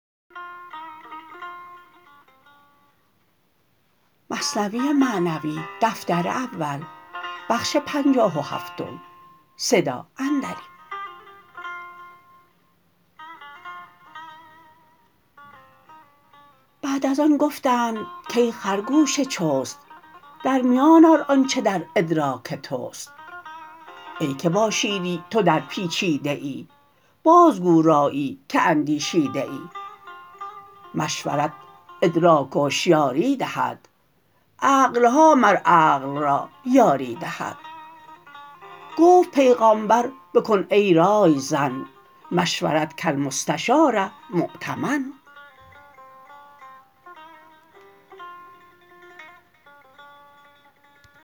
بعد از آن گفتند کای خرگوش چست در میان آر آنچ در ادراک تست ای که با شیری تو در پیچیده ای بازگو رایی که اندیشیده ای مشورت ادراک و هشیاری دهد عقلها مر عقل را یاری دهد گفت پیغامبر بکن ای رای زن مشورت کالمستشار مؤتمن